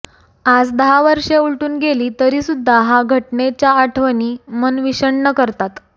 आज दहा वर्षे उलटून गेली तरीसुद्धा हा घटनेच्या आठवणी मन विषण्ण करतात